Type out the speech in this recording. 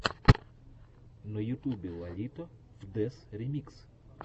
на ютубе лолито фдез ремикс